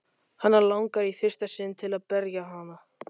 Hana langar í fyrsta sinn til að berja hann.